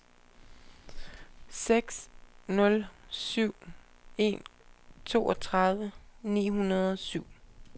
seks nul syv en toogtredive ni hundrede og syv